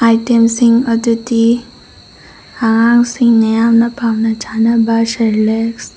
item ꯁꯤꯡ ꯑꯗꯨꯗꯤ ꯑꯉꯥꯡ ꯁꯤꯡꯅ ꯌꯥꯝꯅ ꯄꯥꯝꯅ ꯆꯥꯅꯕ ꯁꯦꯔꯂꯦꯛꯁ --